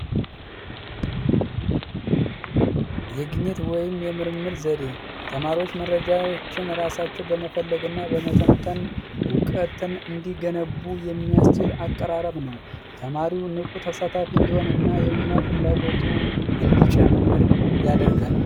የግኚት ወይም የምርምር ዘዴ ተማሪዎች መረጆዎቻቸውን ራሳቸው በመፈል እና በመተንተን እውቀትን እንዲገነቡ የሚያስችል አቀራረብ ነው። ተማሪው ንቁ ተሳታፊ እንዲሆን እና የመማር ፍላጎቱ እንዲጨምር ያደርጋል።